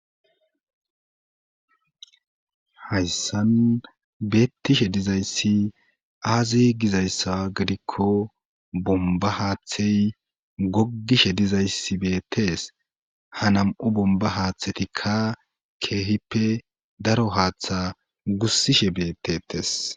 Hayssan beettishe dizayssi aazi gizayssa gidikko bomba haaththey goggishe dizayssi beettees ha nam7u bomba haaththetikka keehippe daro haaththa gussishe beettetes.